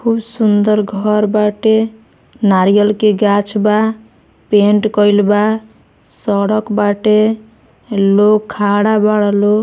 खूब सुन्दर घर बाटे नरियर के गाछ बा पेंट कइल बा सड़क बाटे लोग खड़ा बारे लो।